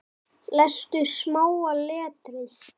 Lestu smáa letrið.